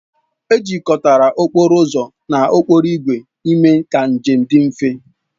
Ejikọtara okporo ụzọ na okporo ígwè ime ka njem dị mfe